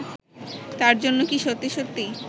তার জন্য কি সত্যি সত্যি